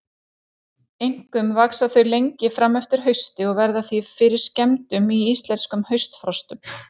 Einkum vaxa þau lengi fram eftir hausti og verða því fyrir skemmdum í íslenskum haustfrostum.